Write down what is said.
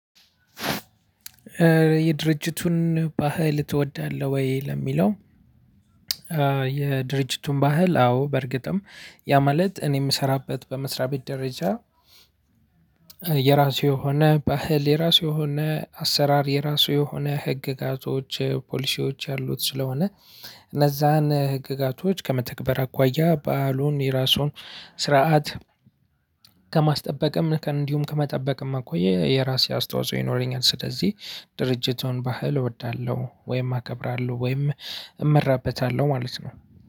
የድርጅቱን ባህል ትወዳለህ ወይ? ለሚለው የድርጅቱን ባህል አዎ! በእርግጥም ያ ማለት እኔ የምሰራበት በመስሪያ ቤት ደረጃ የራሱ የሆነ ባህ፤ የራሱ የሆነ አሰራር፤ የራሱ የሆነ ህግጋቶች፤ ፖሊሲዎች ያሉት ስለሆነ እነዛን ህግጋቶች ከመተግበር አኳያ ባህሉን የራሱን ስርዓት ከማስጠበቅም እንዲሁም ከመጠበቅም አኳያ የራሴ አስተዋጽኦ ይኖረኛል። ስለዚህ ድርጅቱን ባህል እወዳለሁ ወይም አከብራለሁ ወይም እመራበታለሁ ማለት ነው።